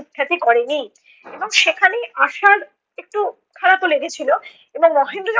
সুখ্যাতি করেনি এবং সেখানেই আশার একটু খারাপও লেগেছিলো এবং মহেন্দ্র যখন